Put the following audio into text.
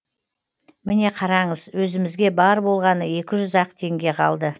міне қараңыз өзімізге бар болғаны екі жүз ақ теңге қалды